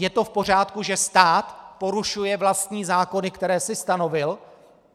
Je to v pořádku, že stát porušuje vlastní zákony, které si stanovil?